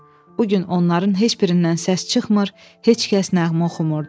Bu gün onların heç birindən səs çıxmır, heç kəs nəğmə oxumurdu.